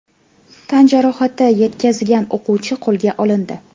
Tan jarohati yetkazgan o‘quvchi qo‘lga olindi.